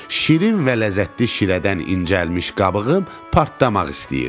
Şirin və ləzzətli şirədən incəlmiş qabığım partlamaq istəyirdi.